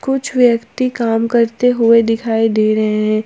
कुछ व्यक्ति काम करते हुए दिखाई दे रहे हैं।